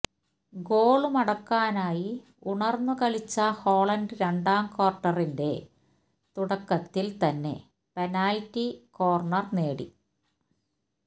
goal മടക്കാനായി ഉണര്ന്നു കളിച്ച ഹോളണ്ട് രണ്ടാം ക്വാര്ട്ടറിന്റെ തുടക്കത്തില് തന്നെ പെനാല്റ്റി കോര്ണര് നേടി